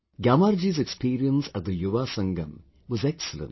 Gyamarji's experience at the Yuva Sangam was excellent